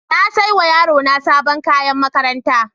Na saya wa yarona sabon kayan makaranta.